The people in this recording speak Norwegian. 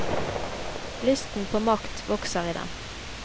Lysten på makt vokser i dem.